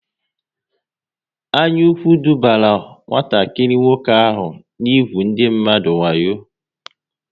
Anyaukwu dubara nwatakịrị nwoke ahụ n'ugwu ndị mmadụ wayo